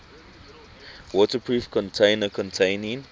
waterproof container containing